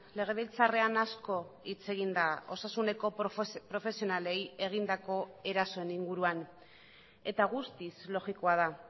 legebiltzarrean asko hitz egin da osasuneko profesionalei egindako erasoen inguruan eta guztiz logikoa da